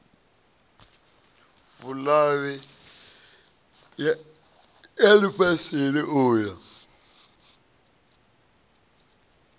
vhuluvhi ya lifhasini u ya